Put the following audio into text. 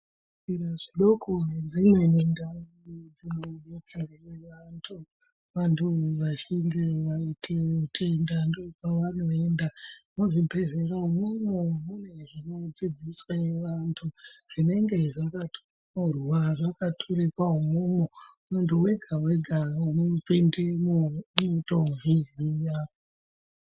Zvibhedhlera zvidoko nedzimweni ndau dzinodetsera vantu vachinge vaite utenda ndokwavanoenda. Muzvibhedhlera umwomwo mune zvinodzidziswa vantu zvinenge zvakatonyorwa zvakaturikwa umwomwo. Munhu wega wega unopindemwo unotozviziya.